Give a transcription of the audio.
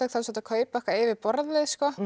þú ert að kaupa eitthvað yfir borðið